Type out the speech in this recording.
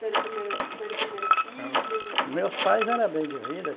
Ter o primeiro, ter o primeiro filho... Meus pais eram bem de vida.